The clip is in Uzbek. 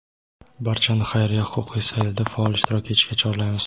Barchani xayriya huquqiy sayilida faol ishtirok etishga chorlaymiz.